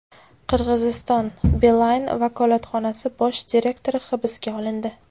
Qirg‘izistonda Beeline vakolatxonasi bosh direktori hibsga olindi.